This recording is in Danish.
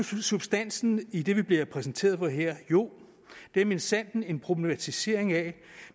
substansen i det vi bliver præsenteret for her jo det er minsandten en problematisering af